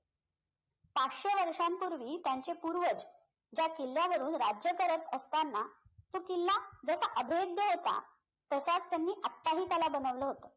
पाचशे वर्षांपूर्वी त्यांचे पूर्वज ज्या किल्ल्यावरून राज्य करत असताना तो किल्ला जसा अभेद्य होता तसाच त्यांनी आताही त्याला बनवला होता